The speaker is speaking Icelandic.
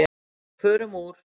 Og förum úr.